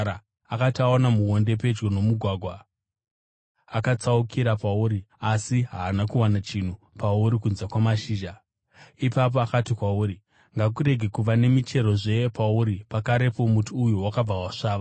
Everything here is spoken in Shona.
Akati aona muonde pedyo nomugwagwa, akatsaukira pauri asi haana kuwana chinhu pauri kunze kwamashizha. Ipapo akati kwauri, “Ngakurege kuva nemicherozve pauri!” Pakarepo muti uya wakabva wasvava.